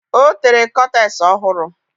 Ọ tere kọtes ọ hụrụ.